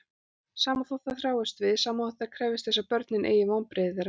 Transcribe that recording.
Sama þótt þær þráist við, sama þótt þær krefjist þess að börnin eygi vonbrigði þeirra.